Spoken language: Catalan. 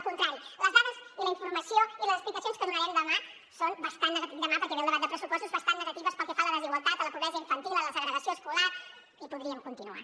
al contrari les dades i la informació i les explicacions que donarem demà són bastant negatives dic demà perquè ve el debat de pressupostos bastant negatives pel que fa a la desigualtat a la pobresa infantil a la segregació escolar i podríem continuar